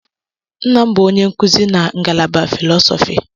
Nna m bụ onye nkuzi na ngalaba filọsọfị.